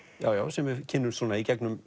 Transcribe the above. sem við kynnumst í gegnum